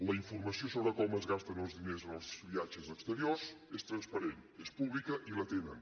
la informació sobre com es gasten els diners en els viatges exteriors és transparent és pública i la tenen